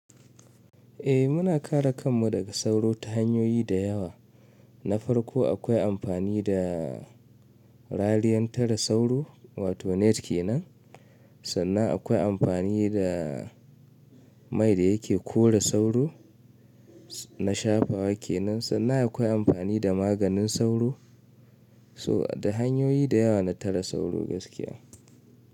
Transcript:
Eh muna kare kanmu daga sauro ta hanyoyi da yawa. Na farko akwai amfani da raliyan tara sauro wato net kenan. Sannan akwai amfani da mai da yake kora sauro na shafawa kenan. Sannan akwai amfani da maganin sauro. So da hanyoyi da yawa na tara sauro gaskiya.